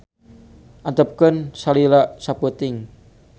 Antepkeun salila sapeuting.